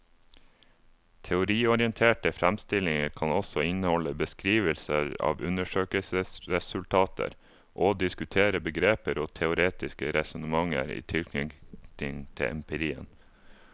Teoriorienterte fremstillinger kan også inneholde beskrivelser av undersøkelsesresultater og diskutere begreper og teoretiske resonnementer i tilknytning til empirien.